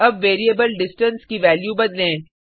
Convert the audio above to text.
अब variable distance की value बदलें